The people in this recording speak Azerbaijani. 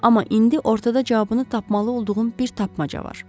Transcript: Amma indi ortada cavabını tapmalı olduğum bir tapmaca var.